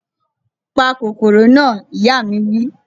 Pa kòkòrò na! Ìyá mi wí